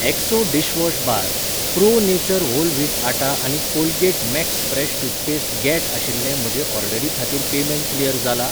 ऍक्सो dishwash bar, pro nature whole wheat atta आनी Colgate max fresh toothpaste गॅट आशिल्ले म्हजे ऑर्डरी खातीर पेमँट क्लियर जाला ?